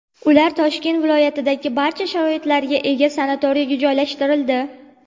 Ular Toshkent viloyatidagi barcha sharoitlarga ega sanatoriyga joylashtirildi.